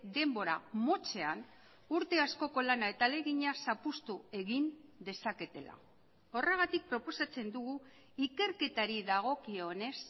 denbora motzean urte askoko lana eta ahalegina zapuztu egin dezaketela horregatik proposatzen dugu ikerketari dagokionez